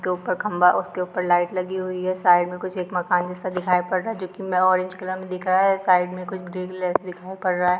उसके ऊपर खंभा है उसके ऊपर लाइट लगी हुई है साइड में कुछ मकान जैसा दिखाई दे रहा है जो कि ऑरेंज कलर में दिख रहा है साइड में कुछ--